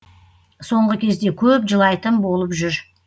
соңғы кезде көп жылайтын болып жүр